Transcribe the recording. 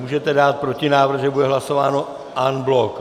Můžete dát protinávrh, že bude hlasováno en bloc.